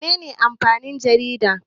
Mene ne amfanin jarida?